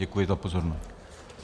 Děkuji za pozornost.